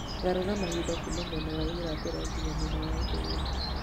garũra mahinda kuuma mwena wa irathĩro nginya mwena wa ithũĩro